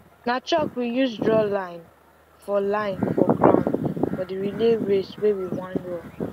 na chalk we use draw line for line for ground for the relay race wey we wan run